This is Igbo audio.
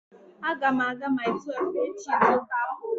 Aga m aga Mile 12 echi ịzụta apụl